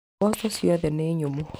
Mboco ciothe nĩ nyũmũ.